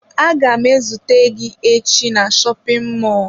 Agam ezute gi echi na shopin mọlụ.